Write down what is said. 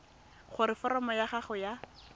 gore foromo ya gago ya